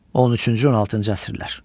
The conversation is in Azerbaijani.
13-cü-16-cı əsrlər.